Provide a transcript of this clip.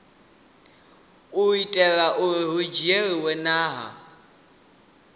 itela uri hu dzhielwe nha